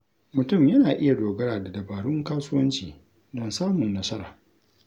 Mutum yana iya dogara da dabarun kasuwanci don samun nasara.